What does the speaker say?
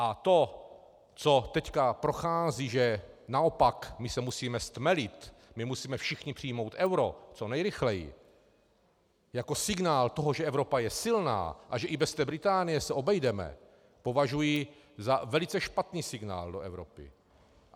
A to, co teď prochází, že naopak my se musíme stmelit, my musíme všichni přijmout euro co nejrychleji jako signál toho, že Evropa je silná a že i bez té Británie se obejdeme, považuji za velice špatný signál do Evropy.